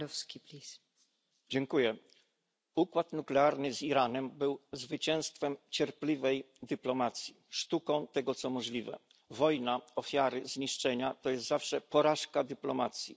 Pani Przewodnicząca! Układ nuklearny z Iranem był zwycięstwem cierpliwej dyplomacji, sztuką tego, co możliwe. Wojna, ofiary, zniszczenia to jest zawsze porażka dyplomacji.